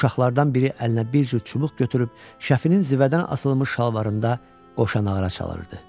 Uşaqlardan biri əlinə bir cüt çubuq götürüb, şəfinin zivədən asılmış şalvarında qoşanağara çalırdı.